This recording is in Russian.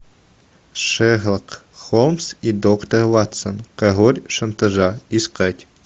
шерлок холмс и доктор ватсон король шантажа искать